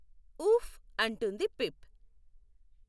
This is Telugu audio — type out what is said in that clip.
ఊఫ్, అంటుంది పిప్.